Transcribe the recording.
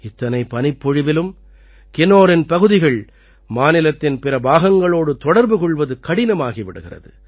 இத்தனை பனிப்பொழிவிலும் கின்னோரின் பகுதிகள் மாநிலத்தின் பிற பாகங்களோடு தொடர்பு கொள்வது கடினமாகி விடுகிறது